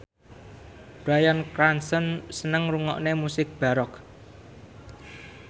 Bryan Cranston seneng ngrungokne musik baroque